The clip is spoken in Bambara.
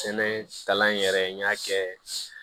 Sɛnɛ kalan in yɛrɛ n y'a kɛ